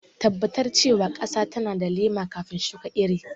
Tabbatar cewa ƙasa tana da laima kafin shuka iri..